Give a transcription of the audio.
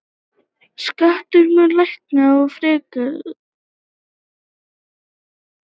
Skattar munu lækka frekar.